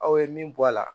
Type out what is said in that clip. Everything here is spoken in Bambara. Aw ye min bɔ a la